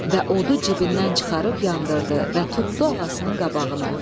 Və odu cibindən çıxarıb yandırdı və tutdu ağasının qabağına.